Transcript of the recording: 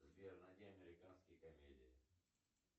сбер найди американские комедии